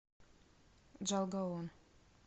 джалгаон